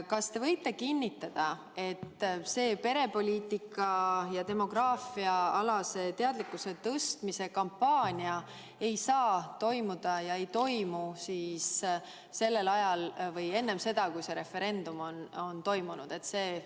Kas te võite kinnitada, et see perepoliitika- ja demograafiaalase teadlikkuse tõstmise kampaania ei toimu sellel ajal või enne seda, kui see referendum on toimunud?